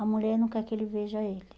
A mulher não quer que ele veja ele.